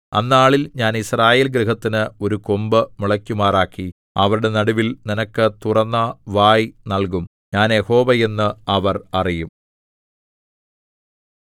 അന്നാളിൽ ഞാൻ യിസ്രായേൽഗൃഹത്തിന് ഒരു കൊമ്പ് മുളയ്ക്കുമാറാക്കി അവരുടെ നടുവിൽ നിനക്ക് തുറന്ന വായ് നല്കും ഞാൻ യഹോവ എന്ന് അവർ അറിയും